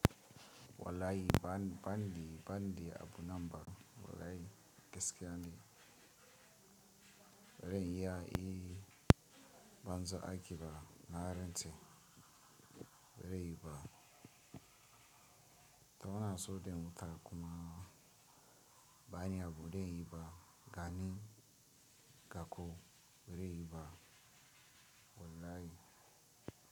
Wallahi bani, bani, bani da abu nan ba wallahi gaskiya ne. Ba zan iya yi banzan aiƙi ba na rantse. Ba zai yu ba. Toh ina so dai in mata kuma bani abu dai inyi ba gani gako ba zai yi ba wallahi.